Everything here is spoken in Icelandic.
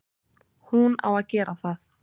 Hún á að gera það.